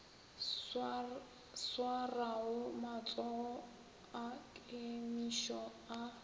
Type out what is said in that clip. swarago matsogo a kemišo a